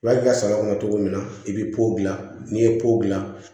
I b'a kɛ saga kɔnɔ cogo min na i bɛ polan n'i ye polan